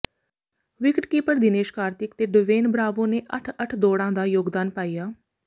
wicketkeeper Dinesh Karthik ਤੇ Dwayne Bravo ਨੇ ਅੱਠ ਅੱਠ ਦੌਡ਼ਾਂ ਦਾ ਯੋਗਦਾਨ ਪਾਇਆ